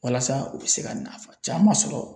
Walasa u bɛ se ka nafa caman sɔrɔ